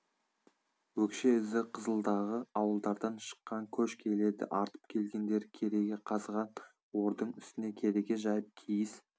өкше ізі қызылдағы ауылдардан шыққан көш келеді артып келгендері кереге қазған ордың үстіне кереге жайып киіз